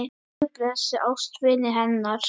Guð blessi ástvini hennar.